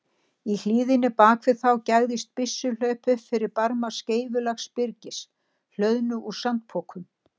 Í hlíðinni bak við þá gægðist byssuhlaup upp fyrir barma skeifulaga byrgis, hlöðnu úr sandpokum.